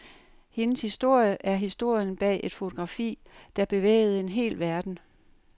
Hendes historie er historien bag et fotografi, der bevægede en hel verden.